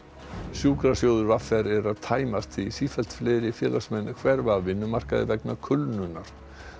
sjúkrasjóður v r er að tæmast því sífellt fleiri félagsmenn hverfa af vinnumarkaði vegna kulnunar